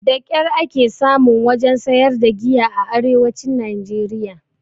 Da ƙyar ake samun wajen sayar da giya a arewacin najeriya